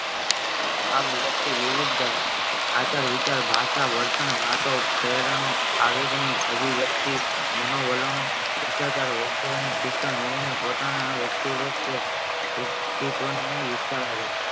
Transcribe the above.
આમ ઓળખતી વિવિધ આચાર વિચાર ભાષા વર્તન પ્રેરણો આવેગની વ્યક્તિ માનો વલણો સસ્તચારો શિક્ષણ મેળવીને પોતાના વ્યક્તિ ગત કે વ્યક્તિત્વને વિચારે